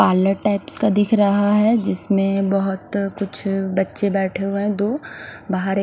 parlour types का दिख रहा है जिसमें बहोत कुछ बच्चे बैठे हुए हैं दो बाहर एक--